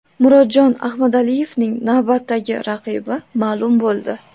Murodjon Ahmadaliyevning navbatdagi raqibi ma’lum bo‘ldi.